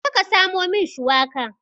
Jeka ka samo min shiwaka.